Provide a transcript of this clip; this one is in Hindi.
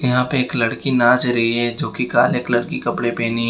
यहां पे एक लड़की नाच रही है जो कि काले कलर की कपड़े पहनी है।